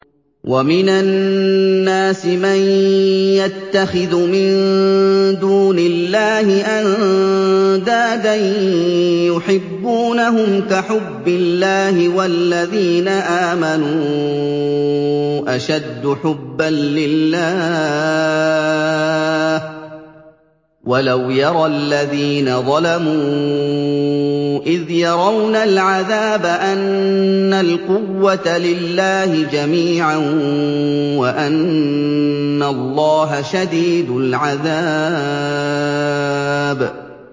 وَمِنَ النَّاسِ مَن يَتَّخِذُ مِن دُونِ اللَّهِ أَندَادًا يُحِبُّونَهُمْ كَحُبِّ اللَّهِ ۖ وَالَّذِينَ آمَنُوا أَشَدُّ حُبًّا لِّلَّهِ ۗ وَلَوْ يَرَى الَّذِينَ ظَلَمُوا إِذْ يَرَوْنَ الْعَذَابَ أَنَّ الْقُوَّةَ لِلَّهِ جَمِيعًا وَأَنَّ اللَّهَ شَدِيدُ الْعَذَابِ